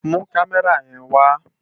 Mú Kàmèrá yèn wá